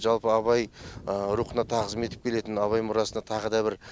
жалпы абай рухына тағзым етіп келетін абай мұрасына тағы да бір